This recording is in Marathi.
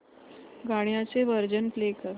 गाण्याचे व्हर्जन प्ले कर